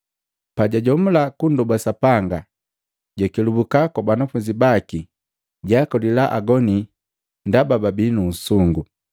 Pajajomula kundoba Sapanga, jakelubuka kwa banafunzi baki jaakolila agoni ndaba babi nu usungu.